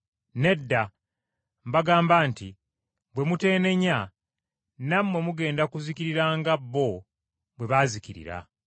Nedda! Mbagamba nti bwe muteenenya nammwe mugenda kuzikirira ng’abo bwe baazikirira.